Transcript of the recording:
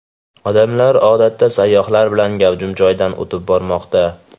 Odamlar odatda sayyohlar bilan gavjum joydan o‘tib bormoqda.